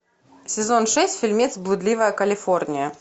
сезон шесть фильмец блудливая калифорния